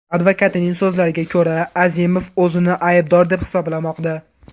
Advokatining so‘zlariga ko‘ra, Azimov o‘zini aybdor deb hisoblamoqda.